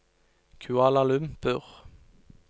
Kuala Lumpur